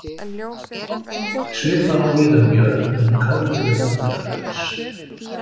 Svipað á við um Björn en Kálfur er vandræðalaus.